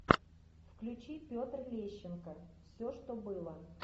включи петр лещенко все что было